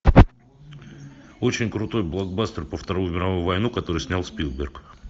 очень крутой блокбастер про вторую мировую войну который снял спилберг